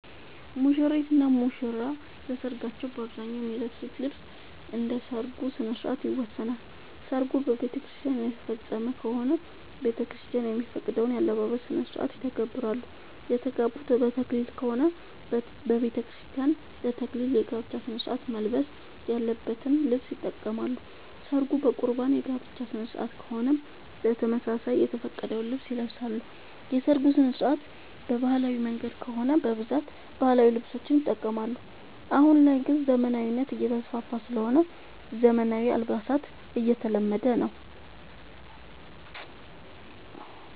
ሙሽሪት እና ሙሽራ ለሰርካቸው በአብዛኛው የሚለብሱት ልብስ እንደ ሠርጉ ስነስርዓት ይወሰናል። ሰርጉ በቤተክርስቲያን የተፈፀመ ከሆነ ቤተክርስቲያን የሚፈቅደውን የአለባበስ ስነስርዓት ይተገብራሉ። የተጋቡት በተክሊል ከሆነ በቤተክርስቲያን ለ ተክሊል የጋብቻ ስነስርዓት መልበስ ያለበትን ልብስ ይጠቀማሉ። ሰርጉ በቁርባን የጋብቻ ስነስርዓት ከሆነም በተመሳሳይ የተፈቀደውን ልብስ ይለብሳሉ። የሰርጉ ስነስርዓት በባህላዊ መንገድ ከሆነ በብዛት ባህላዊ ልብሶችን ይጠቀማሉ። አሁን ላይ ግን ዘመናዊነት እየተስፋፋ ስለሆነ ዘመናዊ አልባሳት እየተለመደ ነው።